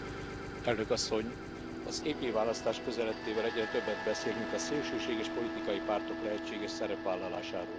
Tisztelt Elnök Asszony! Az EP választás közeledtével egyre többet beszélünk a szélsőséges politikai pártok lehetséges szerepvállalásáról.